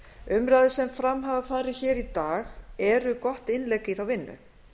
umræður sem fram hafa farið hér í dag eru gott innlegg í þá vinnu